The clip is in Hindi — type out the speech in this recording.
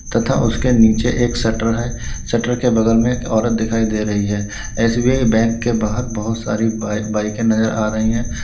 तथा उसके नीचे एक शटर है शटर के बगल में एक औरत दिखाई दे रही है एस_बी_आई बैंक के बाहर बहुत सारी बा बाइकें नजर आ रही हैं।